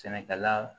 Sɛnɛkɛla